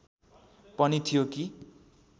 पनि थियो कि